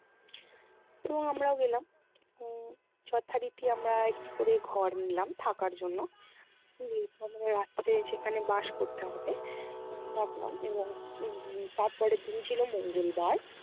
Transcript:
এবং আমরাও গেলাম উম যথারীতি আমরা একটি করে ঘর নিলাম থাকার জন্য। যেহেতু আমাদের রাত্রে সেখানে বাস করতে হবে। উম থাকলাম এবং উম তার পরের দিন ছিলো মঙ্গলবার।